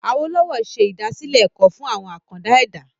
Awolowo se ìdásílẹ̀ ẹ̀kọ́ fún àwọn “àkàndá ẹ̀dá ".